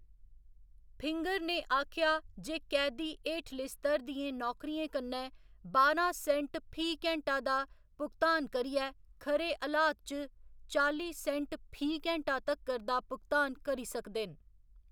Finger ने आखेआ जे कैदी हेठले स्तर दियें नौकरियें कन्नै बारां सेंट फी घैंटा दा भुगतान करियै खरे हलात च चाली सेंट फी घैंटा तक्कर दा भुगतान करी सकदे न।